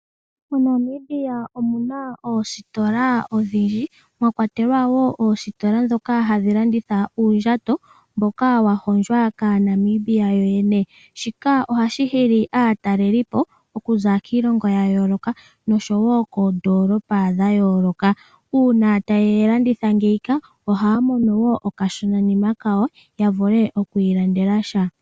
MoNamibia omu na oositola odhindji mwa kwatelwa wo oositola ndhoka hadhi landitha uundjato mboka wa hondjwa kAanamibia yoyene. Shika ohashi hili aatalelipo okuza kiilongo noodolopa dhayooloka. Uuna taye yi landitha ohaya mono okashonanima kawo ya vule oku ilandela sha.